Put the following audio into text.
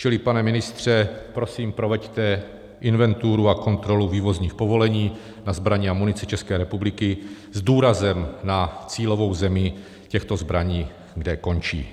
Čili, pane ministře, prosím, proveďte inventuru a kontrolu vývozních povolení na zbraně a munici České republiky s důrazem na cílovou zemi těchto zbraní, kde končí.